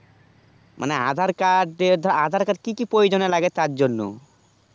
মানে আধার কার্ড যে ধর মানে আধার কার্ড কি কি প্রয়োজনে লাগে তার জন